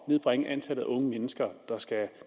at nedbringe antallet af unge mennesker